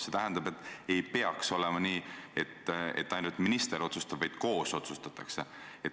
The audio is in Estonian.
See tähendab, et ei peaks olema nii, et ainult minister otsustab, vaid koos otsustatakse.